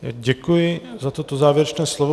Děkuji za toto závěrečné slovo.